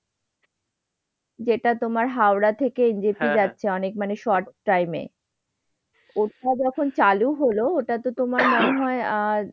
যেটা তোমার হাওড়া থেকে জেপি যাচ্ছে অনেক মানে short time এ। ওটা যখন চালু হলো ওটা তো তোমার মনে হয় আজ,